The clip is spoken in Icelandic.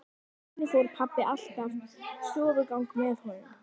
Einnig fór pabbi alltaf stofugang með honum.